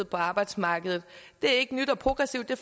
på arbejdsmarkedet det er ikke nyt og progressivt det